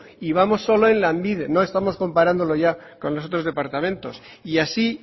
y vamos solo en lanbide no estamos comparándolo ya con los otros departamentos y así